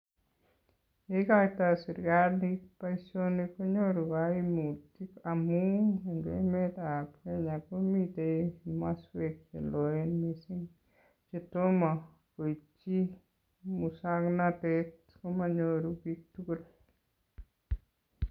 Ye ikoitoi serikalit boisionik konyoru kaimut amun eng emetab Kenya komitei maswek che loen mising chetomo koiti muswoknatet komanyoru biik tugul.